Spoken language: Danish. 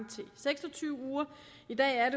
til seks og tyve uger i dag er